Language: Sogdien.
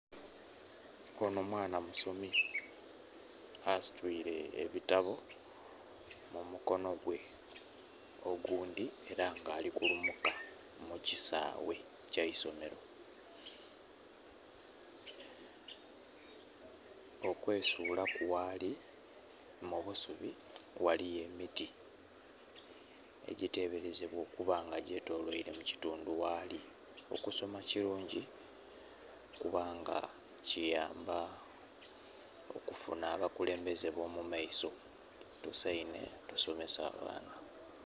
Onho mwana musomi asitwire ebitambi mu mukono gwe oghundhi era nga ali kulumuka mu kisaaghe kyeisomero. Okwesulaku ghaali mubusubi, ghaligho emiti egiteberezebwa okuba nga guli mu kitundhu ghaali. Okisoma kirungi kubanga kiyamba okufunha abakulembeze bo mu maiso tusainhe tusomese abaana.